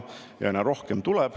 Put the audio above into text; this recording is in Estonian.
Neid tuleb aina rohkem.